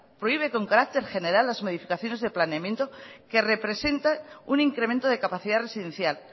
prohíbe con carácter general las modificaciones de planeamiento que representa un incremento de capacidad residencial